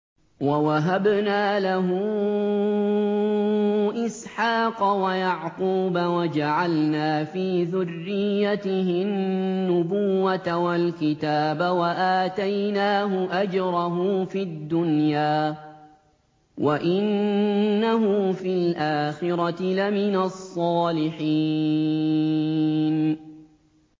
وَوَهَبْنَا لَهُ إِسْحَاقَ وَيَعْقُوبَ وَجَعَلْنَا فِي ذُرِّيَّتِهِ النُّبُوَّةَ وَالْكِتَابَ وَآتَيْنَاهُ أَجْرَهُ فِي الدُّنْيَا ۖ وَإِنَّهُ فِي الْآخِرَةِ لَمِنَ الصَّالِحِينَ